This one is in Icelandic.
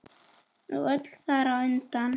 Og öll þar á undan.